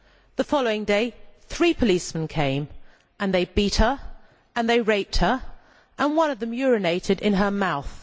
The following day three policemen came and they beat her, and they raped her, and one of them urinated in her mouth.